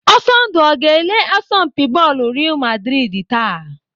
Ọsọndụ ọ ga-ele asọmpi bọọlụ Real maldrid taa?.